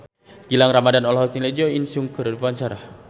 Gilang Ramadan olohok ningali Jo In Sung keur diwawancara